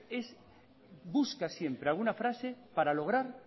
es busca siempre alguna frase para lograr